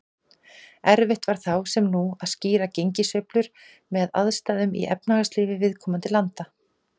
Erfitt var þá, sem nú, að skýra gengissveiflur með aðstæðum í efnahagslífi viðkomandi landa.